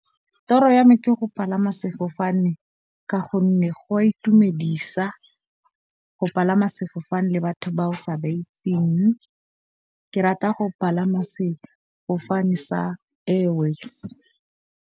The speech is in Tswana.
Toro ya me ke go palama sefofane. Ka gonne go a itumedisa go palama sefofane le batho ba o sa ba itseng. Ke rata go palama sefofane sa Airways.